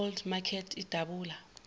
old makert idabula